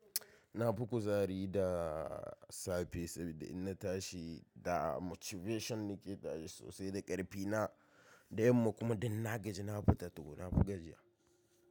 Na fi kuzari da safe sabida inna tashi da motivation nake tashi sosai da ƙarfi na da yamma kuma dinna gaji nafi to na fi gajiya.